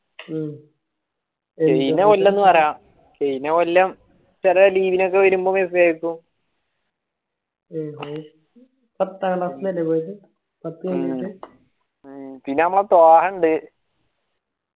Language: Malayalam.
കയ്‌ന കൊല്ലം എന്ന് പറയാം കയ്‌ന കൊല്ലം ചെല leave ഇന്നൊക്കെ വരുമ്പ message അയക്കും പിന്നെ നമ്മളെ ത്വാഹണ്ട്